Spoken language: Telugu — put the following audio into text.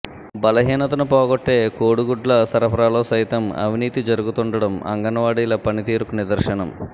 బలహీనతను పోగొట్టే కోడిగుడ్ల సరఫరాలో సైతం అవినీతి జరుగుతుండడం అంగన్వాడీల పనితీరుకు నిదర్శనం